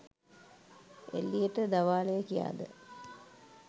එළියට දවාලය කියාද